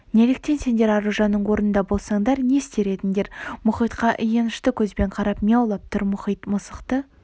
неліктен сендер аружанның орнында болсаңдар не істер едіңдер мұхитқа аянышты көзбен қарап мияулап тұр мұхит мысықты